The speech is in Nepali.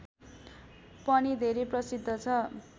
पनि धेरै प्रसिद्ध छ